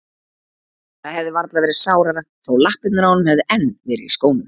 Það hefði varla verið sárara þó lappirnar á honum hefðu enn verið í skónum.